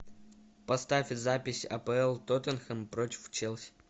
поставь запись апл тоттенхэм против челси